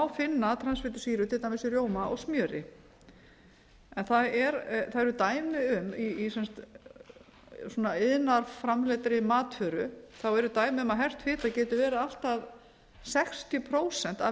finna transfitusýrur til dæmis í rjóma og smjöri en það eru dæmi um í iðnaðarframleiddri matvöru að hert fita geti verið allt að sextíu prósent af